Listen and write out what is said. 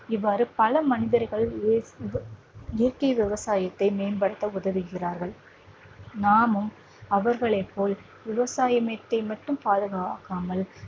இவ்வாறு பல மனிதர்கள் இ இய இயற்கை விவசாயத்தை மேம்படுத்த உதவுகிறார்கள் நாமும் அவர்களைப் போல் விவசாயத்தை மட்டும் பாதுகாக்காமல்